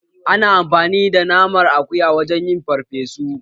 Ana amfani da naman akuya wajen yin farfesu